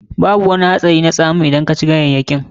Babu wani hatsari na tsamun kina idan ka ci ganyayyaki.